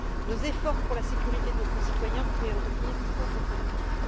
Nos efforts pour la sécurité de nos concitoyens pourraient en devenir contre productifs.